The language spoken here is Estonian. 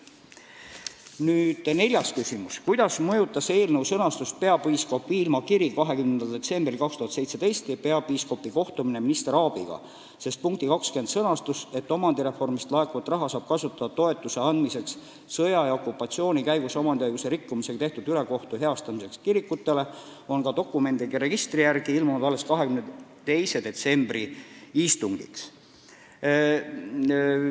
Nüüd neljas küsimus: "Kuidas mõjutas eelnõu sõnastust peapiiskop Viilma kiri 20.12.2017 ja peapiiskopi kohtumine minister Aabiga, sest punkti 20 sõnastus, et omandireformist laekuvat raha saab kasutada "toetuse andmiseks sõja ja okupatsiooni käigus omandiõiguse rikkumisega tehtud ülekohtu heastamiseks kirikutele" on ka dokumendiregistri järgi ilmunud alles 22. detsembri istungiks?